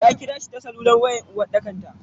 Ta kirashi ta salular wayan dake uwarɗaka.